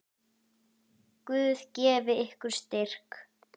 Guð gefi ykkur styrk.